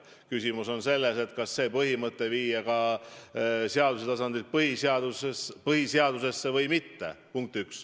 Küsimus on selles, kas see põhimõte viia seaduse tasandilt põhiseadusesse või mitte.